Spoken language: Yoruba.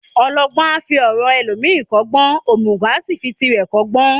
Ọlọgbọ́n a fi ọ̀ràn ẹlòmíràn kọ́gbọ́n, òmùgọ̀ a fi tirẹ̀ kọ́gbọ́n.